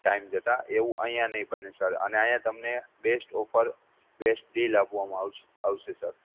time જતા આયા એવું નહિ બને સર અને આયા તમને best offerbest deal આપવામાં આવશે આવશે સર